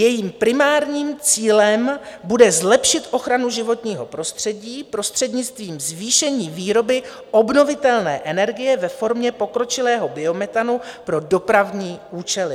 Jejím primárním cílem bude zlepšit ochranu životního prostředí prostřednictvím zvýšení výroby obnovitelné energie ve formě pokročilého biometanu pro dopravní účely.